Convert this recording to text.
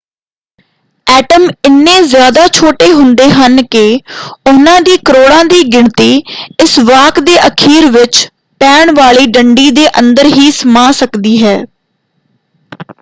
Atom ਇੰਨੇ ਜ਼ਿਆਦਾ ਛੋਟੇ ਹੁੰਦੇ ਹਨ ਕਿ ਉਹਨਾਂ ਦੀ ਕਰੋੜਾਂ ਦੀ ਗਿਣਤੀ ਇਸ ਵਾਕ ਦੇ ਅਖੀਰ ਵਿੱਚ ਪੈਣ ਵਾਲੀ ਡੰਡੀ ਦੇ ਅੰਦਰ ਹੀ ਸਮਾ ਸਕਦੀ ਹੈ।